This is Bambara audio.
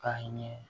Ka ɲɛ